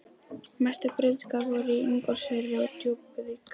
Mestu breytingarnar voru í Ingólfsfirði og Djúpuvík.